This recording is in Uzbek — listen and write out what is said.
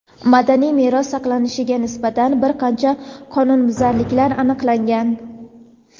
madaniy meros saqlanilishiga nisbatan bir qancha qonunbuzarliklar aniqlangan.